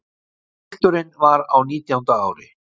Pilturinn var á nítjánda ári.